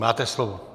Máte slovo.